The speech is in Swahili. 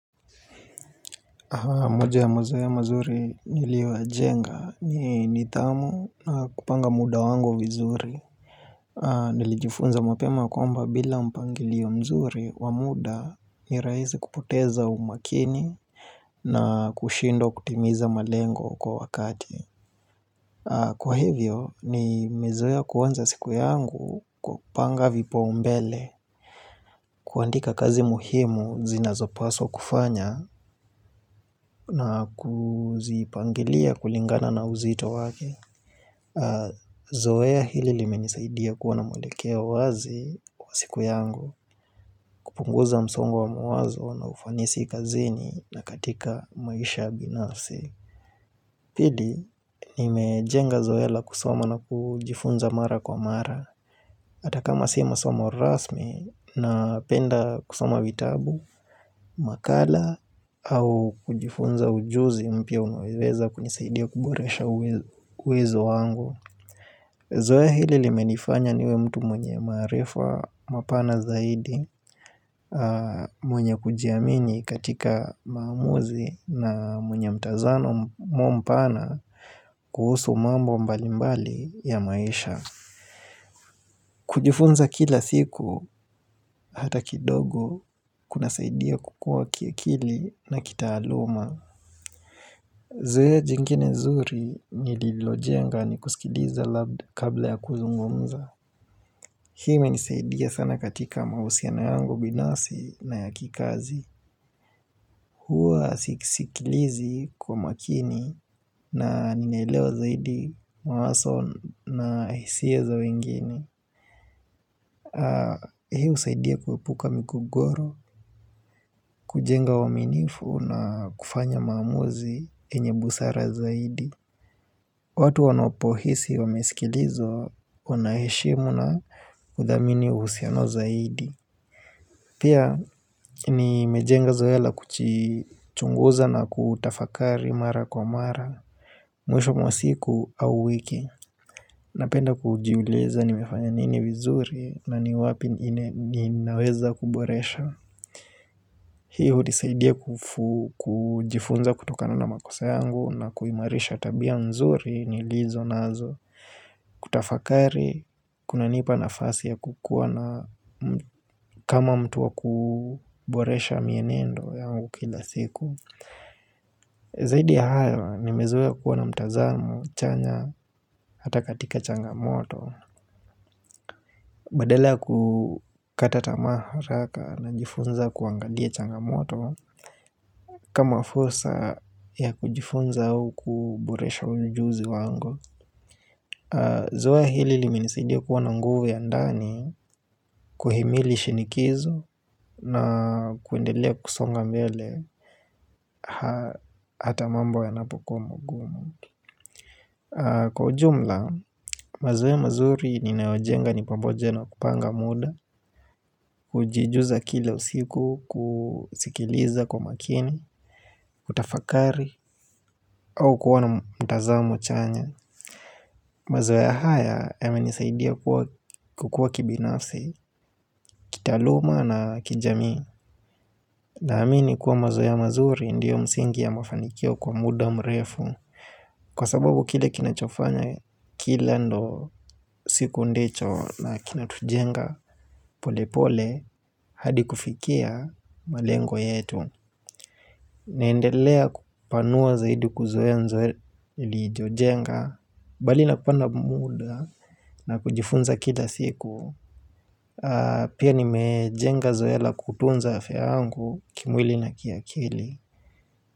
Moja ya mazoea mazuri niliyoyajenga ni nidhamu na kupanga muda wangu vizuri Nilijifunza mapema kwamba bila mpangilio mzuri wa muda ni rahisi kupoteza umakini na kushindwa kutimiza malengo kwa wakati Kwa hivyo nimezoea kuanza siku yangu kwa kupanga vipo mbele kuandika kazi muhimu zinazopaswa kufanya na kuzipangilia kulingana na uzito wake Zoea hili limenisaidia kuwa na mwelekeo wazi kwa siku yangu kupunguza msongo wa mawazo na ufanisi kazini na katika maisha binafsi Pili, nimejenga zoea la kusoma na kujifunza mara kwa mara Ata kama si masomo rasmi na penda kusoma vitabu makala au kujifunza ujuzi mpya unaweza kunisaidia kuboresha uwezo wangu Zoea hili limenifanya niwe mtu mwenye maarifa mapana zaidi mwenye kujiamini katika maamuzi na mwenye mtazamo pana kuhusu mambo mbalimbali ya maisha kujifunza kila siku hata kidogo kunasaidia kukua kiakili na kitaaluma Zoea jingine zuri nililojenga ni kusikiliza kabla ya kuzungumza. Hii imenisaidia sana katika mahusiano yangu binafsi na ya kikazi. Huwa sisikilizi kwa makini na ninaelewa zaidi mawazo na hisia za wengine. Hii husaidia kuepuka migogoro, kujenga uwaminifu na kufanya maamuzi enye busara zaidi. Watu wanopohisi wamesikilizwa wanaheshimu na kuthamini uhusiano zaidi. Pia nimejenga zoea la kujichunguza na kutafakari mara kwa mara. Mwisho mwa siku au wiki. Napenda kujiuliza nimefanya nini vizuri na ni wapi ninaweza kuboresha. Hii hunisaidia kujifunza kutokana na makosa yangu na kuimarisha tabia nzuri nilizonazo. Kutafakari, kuna nipa nafasi ya kukuwa kama mtu wa kuboresha mienendo yangu kila siku Zaidi ya hayo, nimezoea kuwa na mtazamo chanya hata katika changamoto Badala kukata tamaa haraka najifunza kuangalia changamoto kama fursa ya kujifunza au kuboresha ujuzi wangu Zoea hili limenisaidia kuwa na nguvu ya ndani kuhimili shinikizo na kuendelea kusonga mbele hata mambo yanapokuwa magumu Kwa ujumla, mazoea mazuri ninaojenga ni pamoja na kupanga muda, kujijuza kile usiku kusikiliza kwa makini, kutafakari au kuona mtazamo chanya mazoea haya yamenisaidia kukua kibinafsi, kitaluma na kijamii Naamini kuwa mazoea mazuri ndiyo msingi ya mafanikio kwa muda mrefu Kwa sababu kile kinachofanya kila ndo siku ndicho na kinatujenga pole pole hadi kufikia malengo yetu naendelea kupanua zaidi kuzoea mazoea niliyojenga Bali na kupanga muda na kujifunza kila siku Pia nimejenga zoea kutunza afya yangu kimwili na kiakili.